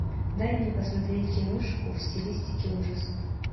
дай мне посмотреть киношку в стилистике ужасов